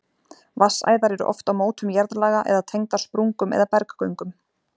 Vatnsæðar eru oft á mótum jarðlaga eða tengdar sprungum eða berggöngum.